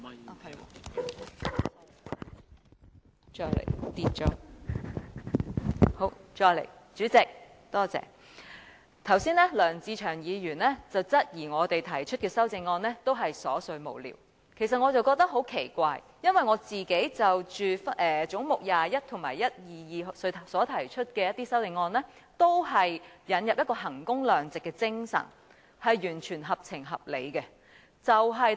代理主席，梁志祥議員剛才質疑我們提出的修正案都是瑣碎無聊，其實我覺得很奇怪，因為我就總目21及122提出的修正案，都是引入衡工量值的精神，完全合情合理的。